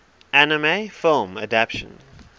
anime film adaptation